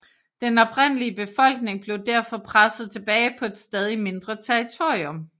Den oprindelige befolkning blev derfor presset tilbage på et stadig mindre territorium